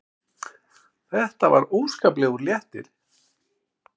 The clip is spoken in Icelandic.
Það var óskaplegur léttir.